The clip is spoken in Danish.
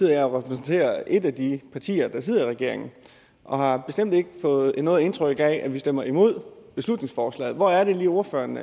repræsenterer jeg et af de partier der sidder i regeringen og har bestemt ikke fået noget indtryk af at vi stemmer imod beslutningsforslaget hvor er det lige ordføreren